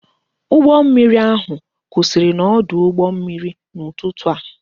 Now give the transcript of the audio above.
Ụgbọ mmiri ahụ kwụsịrị n'ọdụ ụgbọ mmiri n'ụtụtụ a